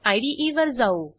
इदे वर जाऊ